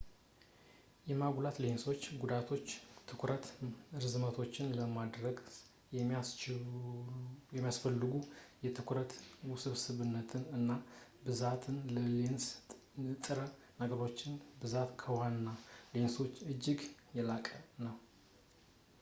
የማጉላት ሌንሶች ጉዳቶች የትኩረት ርዝመቶችን ለማድረስ የሚያስፈልጉ የትኩረት ውስብስብነት እና ብዛት የሌንስ ንጥረ ነገሮች ብዛት ከዋና ሌንሶች እጅግ የላቀ ነው